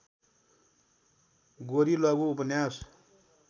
गोरी लघु उपन्यास